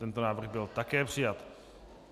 Tento návrh byl také přijat.